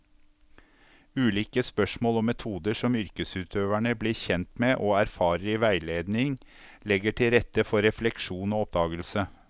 Ulike spørsmål og metoder som yrkesutøverne blir kjent med og erfarer i veiledning, legger til rette for refleksjon og oppdagelse.